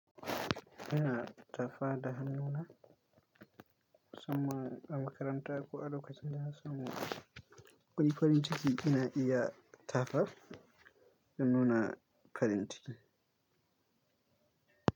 Ina tafa da hannuna musamman a makaranta ko a lokacin da na samu wani farin cikin ina iya tafa da nuna farin ciki.